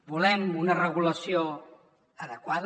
volem una regulació adequada